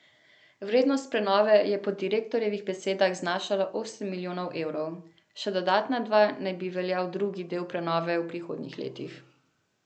Vrednost prenove je po direktorjevih besedah znašala osem milijonov evrov, še dodatna dva naj bi veljal drugi del prenove v prihodnjih letih.